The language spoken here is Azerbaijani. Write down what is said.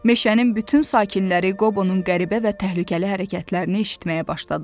meşənin bütün sakinləri Qobonun qəribə və təhlükəli hərəkətlərini eşitməyə başladılar.